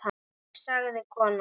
Þig sagði konan.